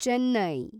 Chennai